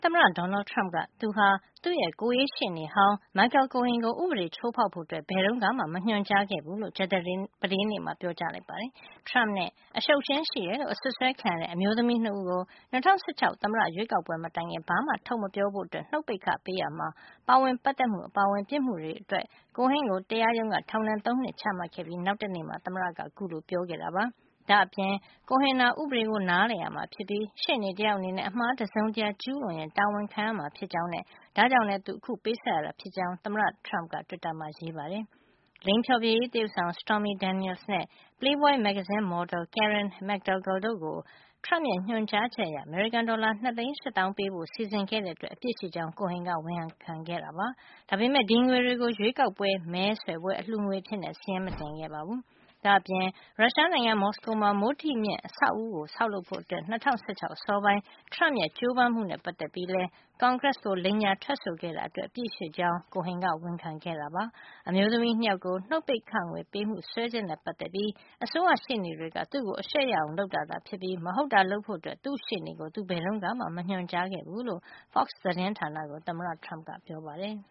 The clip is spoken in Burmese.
သမ္မတ Donald Trump က သူဟာ သူ့ကိုယ်ရေးရှေ့နေဟောင်း Michael Cohen ကို ဥပဒေချိုးဖေါက်ဖို့ ဘယ်တုန်းကမှ မညွှန်ကြား ခဲ့ဘူးလို့ ကြာသပတေးနေ့က ပြောပါတယ်။ Trump နဲ့ အရှုပ်အရှင်းရှိတယ်လို့ အစွပ်စွဲခံရတဲ့ အမျိုးသမီး ၂ ဦးကို ၂၀၁၆ သမ္မတရွေးကောက်ပွဲ မတိုင်ခင် ဘာမှထုတ်မပြောဖို့ နှုတ်ပိတ်ခ ပေးရာမှာ ပါဝင်ပတ်သက်မှု အပါအဝင် ပြစ်မှုတွေအတွက် Cohen ကိုတရားရုံးက ထောင်ဒဏ် ၃ နှစ် ချမှတ်ခဲ့ပြီး နောက်တနေ့မှာ သမ္မတက ခုလိုပြောခဲ့တာပါ။ ဒါ့အပြင် Cohen ဟာ ဥပဒေကို နားလည်ရမှာ ဖြစ်ပြီး ရှေ့နေ တယောက်အနေနဲ့ အမှားတစုံတရာ ကျူးလွန်ရင် တာဝန်ခံရမှာ ဖြစ်ကြောင်းနဲ့ ဒါ့ကြောင့် အခု သူပေးဆပ်ရတာ ဖြစ်ကြောင်း သမ္မတ Trump က တွစ်တာမှာရေးပါတယ်။ လိင်ဖျော်ဖြေရေးသရုပ်ဆောင် Stormy Daniels နဲ့ ပလေးဘွိုင်း မဂ္ဂဇင်းမော်ဒယ် Karen McDougal တို့ကို Trump ရဲ့ ညွှန်ကြားချက် အရ အမေရိကန်ဒေါ်လာ ၂၈၀ ၀၀၀ ပေးဖို့ စီစဉ်ခဲ့တဲ့အတွက် အပြစ်ရှိကြောင်း Cohen က ဝန်ခံခဲ့တာပါ။ ဒါပေမယ့် ဒီငွေတွေကို ရွေးကောက်ပွဲ မဲဆွယ်ပွဲ အလှုငွေအဖြစ် စာရင်းမတင်ခဲ့ပါဘူး။ ဒါ့အပြင် ရုရှားနိုင်ငံ မော်စကိုမှာ မိုးထိမြင့်အဆောက်အဦး ဆောက်လုပ်ဖို့ ၂၀၁၆ အစောပိုင်းTrump ရဲ့ ကြိုးပမ်းမှုနဲ့ ပတ်သက်ပြီး ကွန်ဂရက်ကို လိမ်ညာထွက်ဆိုခဲ့တာ အတွက်လည်း အပြစ်ရှိကြောင်း Cohen ကဝန်ခံခဲ့ပါတယ်။ အမျိုးသမီး ၂ ယောက်ကို နှုတ်ပိတ်ခငွေ ပေးမှု စွဲချက်နဲ့ ပတ်သက်ပြီး အစိုးရရှေ့နေတွေက သူ့ကို အရှက်ရအောင် လုပ်တာသာ ဖြစ်ပြီး မဟုတ်တာလုပ်ဖို့ သူ့ရှေ့နေကို သူဘယ်တုန်းကမှ မညွှန်ကြားခဲ့ဘူးလို့ Fox သတင်းဌာန ကို သမ္မတ Trump က ပြောပါတယ်